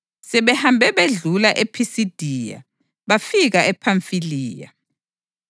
Sebehambe bedlula ePhisidiya, bafika ePhamfiliya,